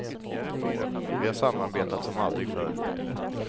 Vi har samarbetat som aldrig förr.